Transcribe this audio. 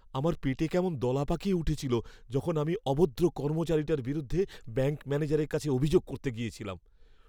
আমার পেটে কেমন দলা পাকিয়ে উঠেছিল যখন আমি অভদ্র কর্মচারীটার বিরুদ্ধে ব্যাঙ্ক ম্যানেজারের কাছে অভিযোগ করতে গিয়েছিলাম।